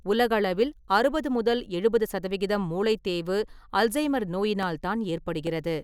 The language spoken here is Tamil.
உலகளவில் 60-70% மூளைத் தேய்வு அல்சைமர் நோயினால் தான் ஏற்படுகிறது.